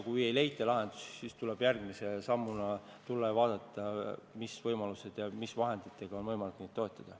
Kui lahendusi ei leita, siis tuleb järgmise sammuna üle vaadata, mis võimalused on ja milliste vahenditega on võimalik toetada.